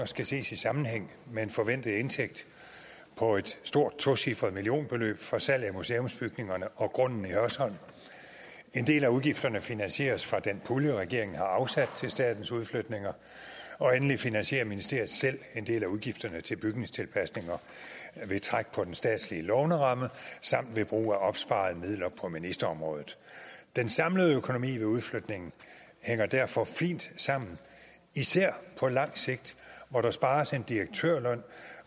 skal ses i sammenhæng med en forventet indtægt på et stort tocifret millionbeløb fra salg af museumsbygningerne og grunden i hørsholm en del af udgifterne finansieres af den pulje regeringen har afsat til statens udflytninger og endelig finansierer ministeriet selv en del af udgifterne til bygningstilpasninger ved træk på den statslige låneramme samt ved brug af opsparede midler på ministerområdet den samlede økonomi ved udflytningen hænger derfor fint sammen især på lang sigt hvor der spares en direktørløn